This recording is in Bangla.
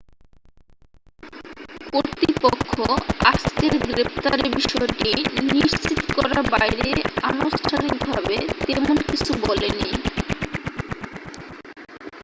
কর্তৃপক্ষ আজকের গ্রেপ্তারের বিষয়টি নিশ্চিত করার বাইরে আনুষ্ঠানিকভাবে তেমন কিছু বলেনি